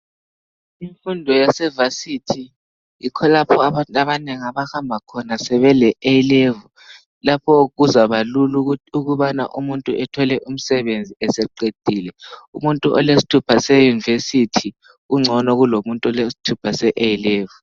Imfundo yase Vasithi yikho lapho abantu abanengi abahamba khona sebe le A Level lapho kuzabalula ukubana umuntu ethole umsebenzi eseqedile, umuntu olesthupha se Yunivesithi ungcono kulomuntu olesthupha se A Level.